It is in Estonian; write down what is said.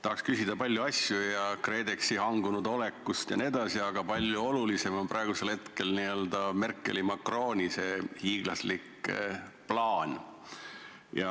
Tahaksin küsida paljude asjade, ka KredExi hangunud oleku kohta jne, aga palju olulisem on praegu Merkeli ja Macroni hiiglaslik plaan.